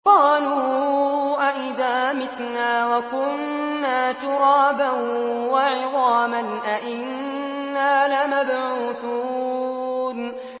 قَالُوا أَإِذَا مِتْنَا وَكُنَّا تُرَابًا وَعِظَامًا أَإِنَّا لَمَبْعُوثُونَ